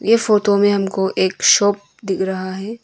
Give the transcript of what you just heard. ये फोटो में हमको एक शॉप दिख रहा है।